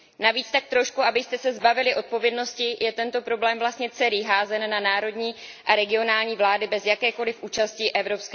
Navíc tak trošku, abyste se zbavili odpovědnosti, je tento problém vlastně celý házen na národní a regionální vlády bez jakékoliv účasti EU.